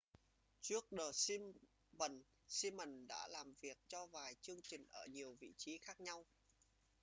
trước the simpsons simon đã làm việc cho vài chương trình ở nhiều vị trí khác nhau